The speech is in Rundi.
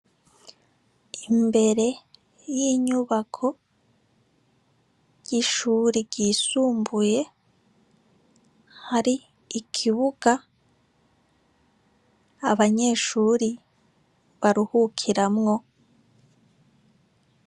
Imbere y'inyubako y'ishure ryisumbuye hari ikibuga abanyeshure baruhukiramwo.